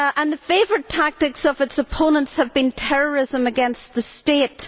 The favourite tactics of its opponents have been terrorism against the state.